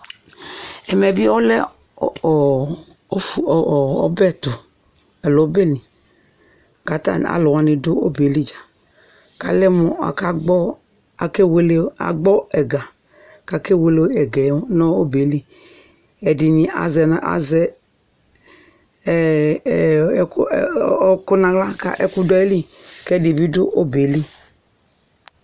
Ɛmɛ bɩ ɔlɛ ɔbɛtʋ alo ɔbɛlɩ katalʋanɩ dʋ obeelɩ dza kalɛ mʋ akagbɔ ɛga kake wele ɛgɛ nʋ ɔbɛ yɛ lɩ Ɛdɩnɩ azɛ ɔkʋ naɣla ka ɛkʋ dʋ ayɩlɩ kɛ ɛdɩ bɩ dʋ obɛ yɛlɩ